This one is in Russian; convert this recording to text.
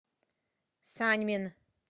саньмин